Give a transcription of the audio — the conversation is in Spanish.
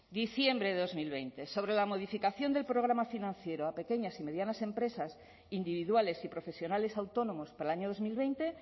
diciembre de dos mil veinte sobre la modificación del programa financiero a pequeñas y medianas empresas individuales y profesionales autónomos para el año dos mil veinte